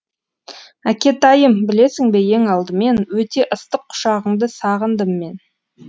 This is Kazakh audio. әкетайым білесің бе ең алдымен өте ыстық құшағыңды сағындым мен